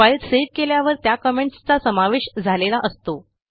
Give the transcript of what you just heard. file save केल्यावर त्या comments चा समावेश झालेला असतो